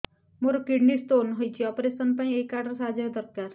ମୋର kidney stone ହଇଛି operation ପାଇଁ ଏହି କାର୍ଡ ର ସାହାଯ୍ୟ ଦରକାର